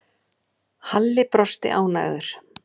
Halli brosti ánægður.